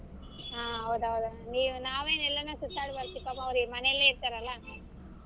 ಹಾ ಹೌದ್ ಹೌದ್ ಅಣ್ಣಾ ನೀವ್ ನಾವೆನ ಎಲ್ಲಾನ ಸುತ್ತಾಡ್ ಬರ್ತೀವಿ ಪಾಪ ಅವ್ರ ಮನೆಲೆ ಇರ್ತಾರಲ.